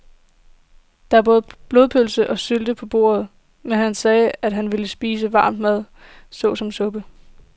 Der var både blodpølse og sylte på bordet, men han sagde, at han bare ville spise varm mad såsom suppe.